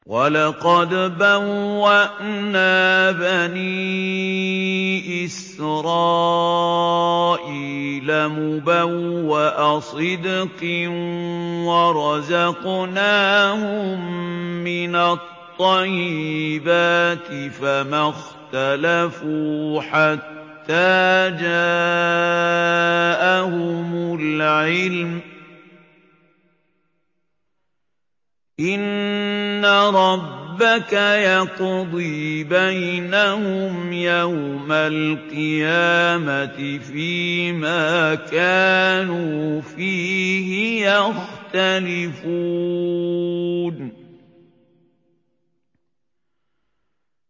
وَلَقَدْ بَوَّأْنَا بَنِي إِسْرَائِيلَ مُبَوَّأَ صِدْقٍ وَرَزَقْنَاهُم مِّنَ الطَّيِّبَاتِ فَمَا اخْتَلَفُوا حَتَّىٰ جَاءَهُمُ الْعِلْمُ ۚ إِنَّ رَبَّكَ يَقْضِي بَيْنَهُمْ يَوْمَ الْقِيَامَةِ فِيمَا كَانُوا فِيهِ يَخْتَلِفُونَ